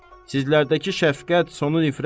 Sizlərdəki şəfqət, sonu nifrət.